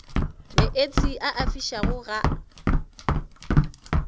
meetse a a fišago ga